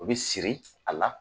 U bi siri a la.